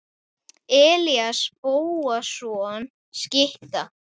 Elías Bóasson skytta.